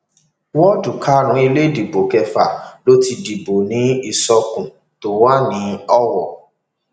wọọdù karùnún ilé ìdìbò kẹfà ló ti dìbò ní ìsọkun tó wà ní owó